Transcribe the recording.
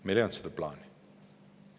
Meil ei olnud seda plaani.